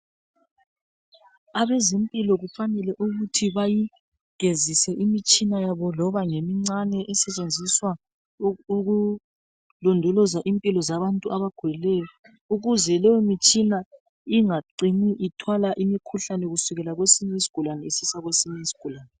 Abezempilo kufanele ukuthi bayigezise imitshina yabo loba ngemincane esetshenziswa ukulondoloza impilo zabantu abagulayo ukuze leyimitshina ingacini ithwala imikhuhlane kusukela kwesinye isigulane isisa kwesinye isigulane.